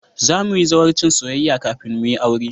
Za mu yi zawarcin soyayya kafin mu yi aure